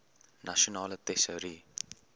nasionale tesourie